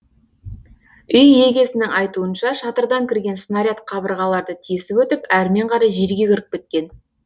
үй егесінің айтуынша шатырдан кірген снаряд қабырғаларды тесіп өтіп әрмен қарай жерге кіріп кеткен